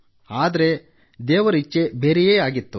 ಆದರೆ ದೇವರ ಇಚ್ಛೇ ಬೆರೆಯೇ ಆಗಿತ್ತು